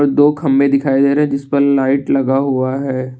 दो खंभे दिखाई दे रहे हैं जिस पर लाइट लगा हुआ है।